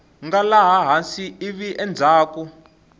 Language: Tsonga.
nga laha hansi ivi endzhaku